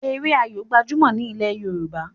Eré Ayó gbajumo ní ilè yorùbá